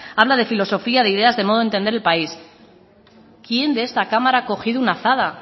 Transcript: habla de filosofía de ideas de modo entender el país quién de esta cámara ha cogido una azada